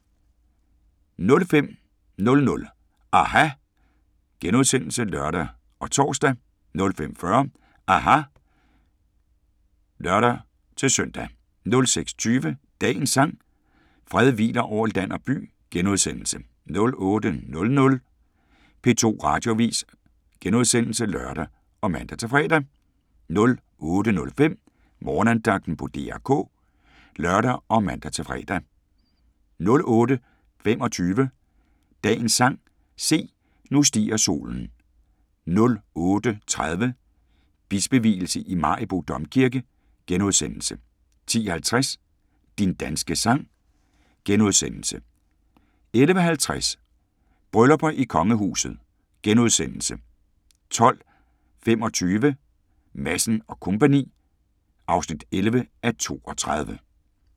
05:00: aHA! *(lør og tor) 05:40: aHA! (lør-søn) 06:20: Dagens sang: Fred hviler over land og by * 08:00: P2 Radioavis *(lør og man-fre) 08:05: Morgenandagten på DR K (lør og man-fre) 08:25: Dagens sang: Se, nu stiger solen 08:30: Bispevielse i Maribo Domkirke * 10:50: Din danske sang * 11:50: Bryllupper i kongehuset * 12:25: Madsen & Co. (11:32)